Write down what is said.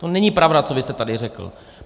To není pravda, co vy jste tady řekl.